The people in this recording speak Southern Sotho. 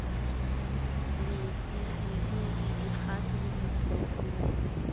mesi mehudi dikgase le diphofudi